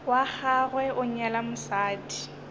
wa gagwe a nyala mosadi